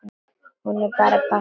Hún bara passaði ekki.